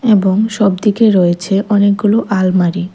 এবং সবদিকে রয়েছে অনেকগুলো আলমারি।